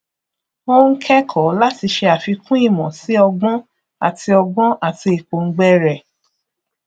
ó ń kẹkọọ láti ṣe àfikún ìmọ sí ọgbọn àti ọgbọn àti ìpòǹgbẹ rẹ